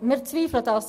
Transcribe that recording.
Dies bezweifeln wir.